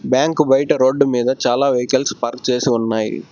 Bank బయట road మీద చాలా వెహికల్స్ పార్క్ చేసి ఉన్నాయి.